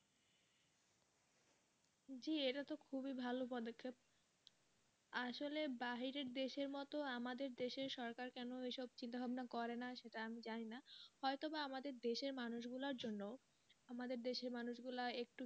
জি এটা তো খুবই ভালো পদক্ষেপ আসলে বাহিরের দেশের মতো আমাদের দেশে সরকার কেন এসব চিন্তাভাবনা করে না সেটা আমি জানিনা হয়তো বা আমাদের দেশের মানুষগুলার জন্য আমাদের দেশে মানুষগুলা একটু,